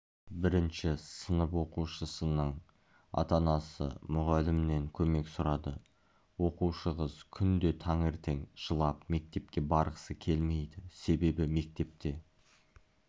бірінші сынып оқушысының ата-анасы мұғалімнен көмек сұрады оқушы қыз күнде таңертең жылап мектепке барғысы келмейді себебі мектепте